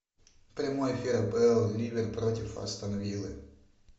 прямой эфир апл ливер против астон виллы